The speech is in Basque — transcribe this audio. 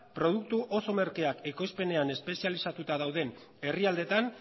produktu oso merkeak ekoizpenean espezialitatuak dauden herrialdeetan